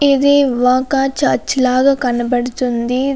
ఇది ఒక చర్చి లాగా కనపడుతుంది.